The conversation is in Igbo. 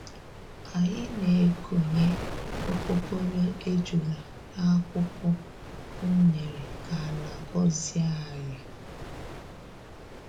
Anyị na-ekonye okpokoro ejula n'akwukwọ unere ka ala gọzie anyị.